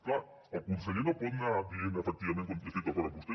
clar el conseller no pot anar dient efectivament jo estic d’acord amb vostè